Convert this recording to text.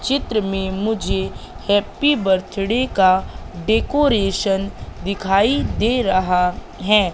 चित्र में मुझे हैप्पी बर्थडे का डेकोरेशन दिखाई दे रहा है।